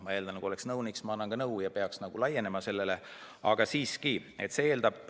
Ma eeldan, et kui ma olen nõunik, siis ma annan nõu, ja peaks laienema.